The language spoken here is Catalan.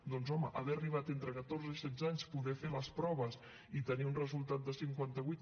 doncs home haver arribat entre catorze i setze anys poder fer les proves i tenir un resultat de cinquanta vuit